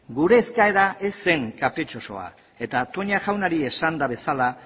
gure eskaera ez zen kapritxosoa eta toña jaunari esanda bezala